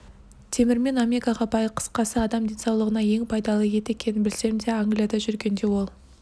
темірмен омега бай қысқасы адам денсаулығына ең пайдалы ет екенін білсем де англияда жүргенде ол